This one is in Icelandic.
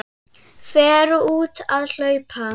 Fer út að hlaupa.